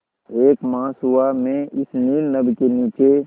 एक मास हुआ मैं इस नील नभ के नीचे